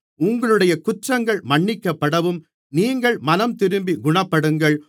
உங்களுடைய குற்றங்கள் மன்னிக்கப்படவும் நீங்கள் மனந்திரும்பி குணப்படுங்கள்